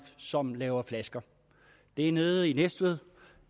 som laver flasker det er nede i næstved